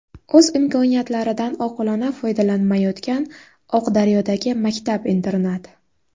O‘z imkoniyatlaridan oqilona foydalanmayotgan Oqdaryodagi maktab-internat.